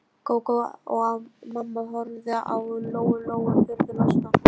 Gógó og mamma horfðu á Lóu Lóu furðu lostnar.